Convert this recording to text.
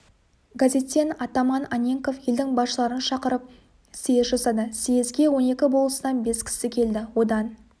газеттен атаман анненков елдің басшыларын шақырып съезд жасады съезге он екі болыстан бес кісі келді одан